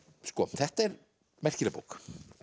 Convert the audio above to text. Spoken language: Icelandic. þetta er merkileg bók